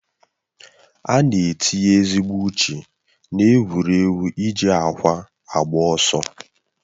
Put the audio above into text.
Ana etinye ezigbo uche na-egwuregwu iji ákwà agba ọsọ.